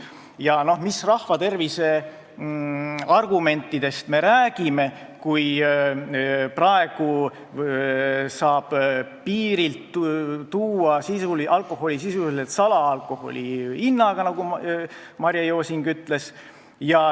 Ja mis rahvatervise argumentidest me räägime, kui praegu saab piirilt tuua alkoholi sisuliselt salaalkoholi hinnaga, nagu Marje Josing ütles.